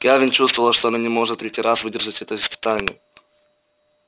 кэлвин чувствовала что она не сможет в третий раз выдержать это испытание